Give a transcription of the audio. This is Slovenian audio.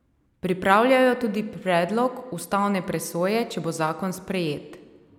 Pripravljajo tudi predlog ustavne presoje, če bo zakon sprejet.